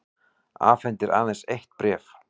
Afhendir aðeins eitt bréf